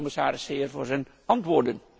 Ik dank de commissaris zeer voor zijn antwoorden.